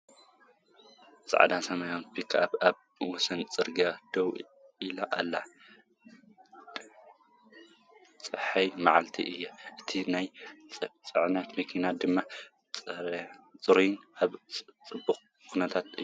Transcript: ጻዕዳን ሰማያውን ፒክኣፕ ኣብ ወሰን ጽርግያ ደው ኢላ ኣላ። ጸሓያዊ መዓልቲ እዩ፣ እታ ናይ ጽዕነት መኪና ድማ ጽሩይን ኣብ ጽቡቕ ኩነታትን እያ።